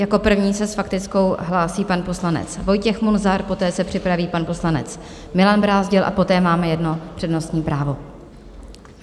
Jako první se s faktickou hlásí pan poslanec Vojtěch Munzar, poté se připraví pan poslanec Milan Brázdil a poté máme jedno přednostní právo.